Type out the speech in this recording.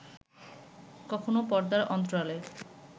কখনো পর্দার অন্তরালে